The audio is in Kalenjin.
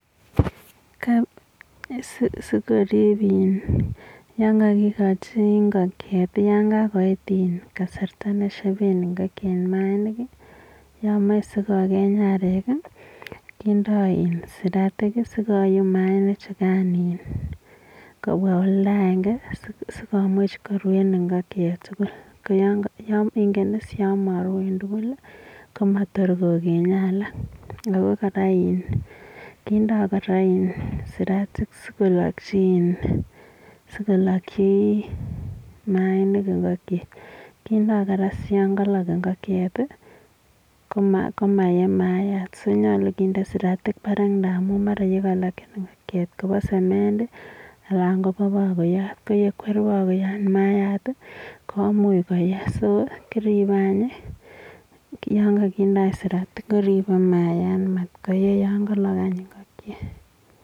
Sikorip iinn yangakikachi ingokiet yakakoit kasarta neshepee ingokiet maainik yameche sikokeny arek kindoi siratinik sikouum maanik chekai kopwa olda akekenge sii komuch korue ingokiet tugul koyamarue tugul komator kokeny alak ako kora kindoi koraa siratik sikolachi maainik ingokiet kindoi komaye maayat simanyalu kinde siratinik parak amuu yangalak ingokiet simayee maayat sinyalu kendee siratinik parak amuu olekalachi ingokiet kopa semendii anan ko pakoyat kokwer pakoyat komuch koyee soo kirepe yakakinde siratinik kiripe mayaat matkoyee yakalok ingokiet